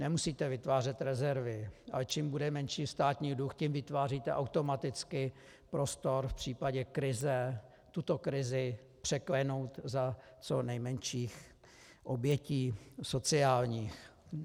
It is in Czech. Nemusíte vytvářet rezervy, ale čím bude menší státní dluh, tím vytváříte automaticky prostor v případě krize tuto krizi překlenout za co nejmenších obětí sociálních.